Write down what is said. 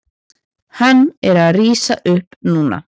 Hann er að rísa upp núna.